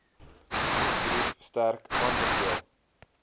nuusbrief sterk aanbeveel